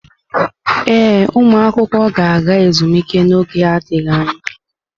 Ee, ụmụ akwụkwọ ga-aga ezumike n'oge adịghị anya.